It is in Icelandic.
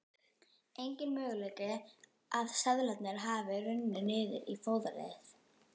Enginn möguleiki að seðlarnir hafi runnið niður í fóðrið.